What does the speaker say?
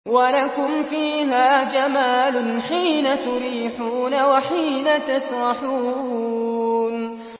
وَلَكُمْ فِيهَا جَمَالٌ حِينَ تُرِيحُونَ وَحِينَ تَسْرَحُونَ